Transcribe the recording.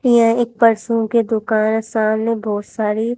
ये एक प्रसुन की दुकान है सामने बहोत सारी--